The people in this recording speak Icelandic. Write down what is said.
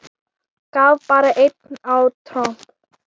Anna Maggý og Selma Sigrún.